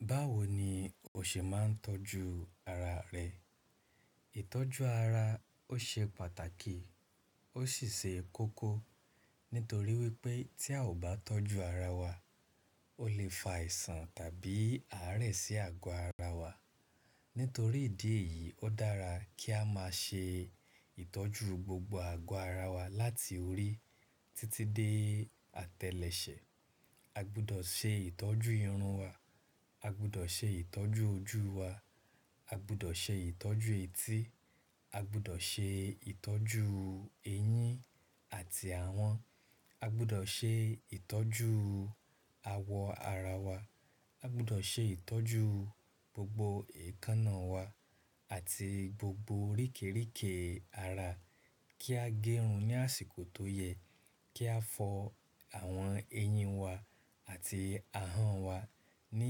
Báwo ni o ṣe máa ń tọ́jú ara rẹ? Ìtọ́jú ara ó ṣe pàtàkì ó sì ṣe kókó. Nítorí wípé tí a ò bá tọ́jú ara wa, ó lè fa àìsàn tàbí àárẹ̀ sí àgọ́ ara wa. Nítorí ìdí èyí ó dára kí a máa ṣe ìtọ́jú gbogbo àgọ́ ara wa láti orí títí dé àtẹ́lẹsẹ̀. A gbọdọ̀ ṣe ìtọ́jú irun wa, a gbọdọ̀ ṣe ìtọ́jú ojú wa, a gbọdọ̀ ṣe ìtọ́jú etí, a gbọdọ̀ ṣe ìtọ́jú eyín àti ahọ́n, a gbọdọ̀ ṣe ìtọ́jú awọ ara wa, a gbọdọ̀ ṣe ìtọ́jú gbogbo èékánná wa àti gbogbo oríkeríkè ara. Kí a gẹrun ní àsìkò tó yẹ, kí a fọ àwọn eyín wa àti ahọ́n wa ní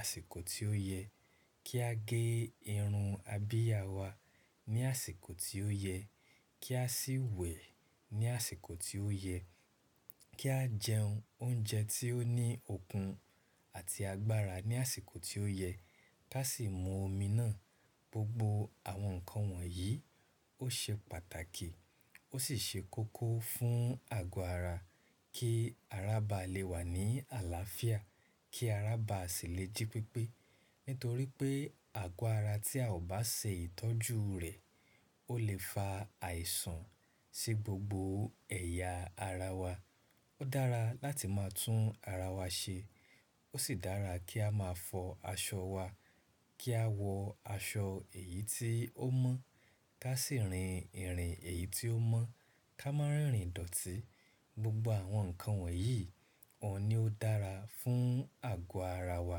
àsìkò tí ó yẹ, kí a gé irun abìyà wa ní àsìkò tí ó yẹ, kí a sì wẹ̀ ní àsìkò tí ó yẹ, kí a jẹ oúnjẹ tí ó ní okun àti agbára ní àsìkò tí ó yẹ, ká sì mu omi ná. Gbogbo àwọn nǹkan wọ̀nyí ó ṣe pàtàkì ó sì ṣe kókó fún àgọ́ ara kí ara bá le wà ní àlàáfíà, kí ara bá sì le jí pépé. Nítorí pé àgọ́ ara tí a ò bá ṣe ìtọ́jú rẹ̀ ó lè fa àìsàn sí gbogbo ẹ̀yà ara wa. Ó dára láti máa tún ara wa ṣe, ó sì dára kí a máa fọ aṣọ wa, kí a wọ aṣọ èyí tí ó mọ́, ká sì rin ìrìn èyí tí ó mọ́, ká máa rìn ìdọ̀tí. Gbogbo àwọn nǹkan wọ̀nyí òun ni ó dára fún àgọ́ ara wa,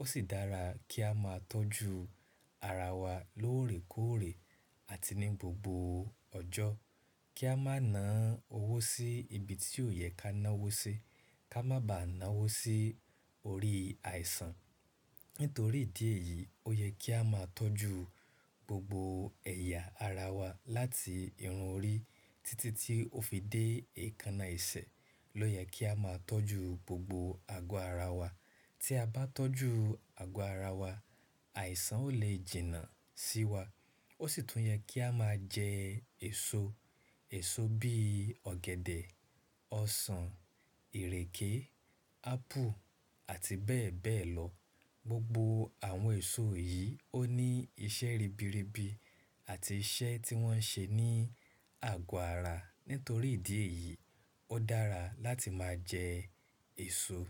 ó sì dára kí a máa tọ́jú ara wa lóòrèkóòrè àti ní gbogbo ọjọ́. Kí a má na owó sí ibi tí ò yẹ ká ná owó sí, ká má ba à ná owó sí orí àìsàn. Nítorí ìdí èyí ó yẹ kí a máa tọ́jú gbogbo ẹ̀yà ara wa láti irun orí títí tí ó fi dé èékánná ẹsẹ̀. Ló yẹ kí a máa tọ́jú gbogbo àgọ́ ara wa. Tí a bá tọ́jú àgọ́ ara wa, àìsàn ò lè jìnnà sí wa. Ó sì tún yẹ kí a máa jẹ èso. Èso bí ọ̀gẹ̀dẹ̀, ọsàn, ìrèké, ápù àti bẹ́ẹ̀ bẹ́ẹ̀ lọ. Gbogbo àwọn èso yìí ó ní iṣẹ́ ribiribi àti iṣẹ́ tí wọ́n ń ṣe ní àgọ́ ara. Nítorí ìdí èyí ó dára láti máa jẹ èso.